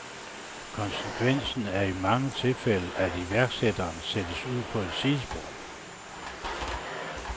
Konsekvensen er i mange tilfælde, at iværksætteren sættes ud på et sidespor.